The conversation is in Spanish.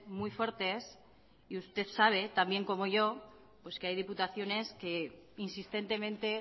muy fuertes y usted sabe tan bien como yo pues que hay diputaciones que insistentemente